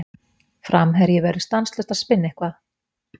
Framherji verður stanslaust að spinna eitthvað.